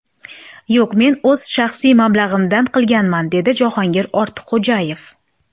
Yo‘q, men o‘z shaxsiy mablag‘imdan qilganman”, dedi Jahongir Ortiqxo‘jayev.